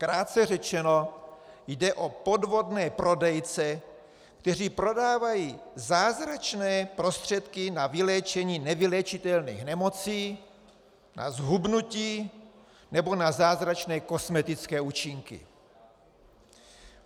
Krátce řečeno, jde o podvodné prodejce, kteří prodávají zázračné prostředky na vyléčení nevyléčitelných nemocí, na zhubnutí nebo na zázračné kosmetické účinky.